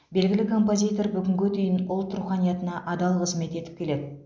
белгілі композитор бүгінге дейін ұлт руханиятына адал қызмет етіп келеді